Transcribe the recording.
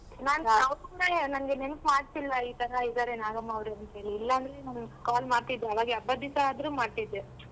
ನಂಗೆ ನೆನ್ಪ್ ಮಾಡ್ಸಿಲ್ಲ ಈತರ ಇದ್ದಾರೆ ನಾಗಮ್ಮ ಅವ್ರು ಅಂತೇಳಿ ಇಲ್ಲಾಂದ್ರೆ ನಾನ್ call ಮಾಡ್ತಿದ್ದೆ ಅವಾಗೆ ಹಬ್ಬದ್ ದಿವ್ಸ ಆದ್ರೂ ಮಾಡ್ತಿದ್ದೆ.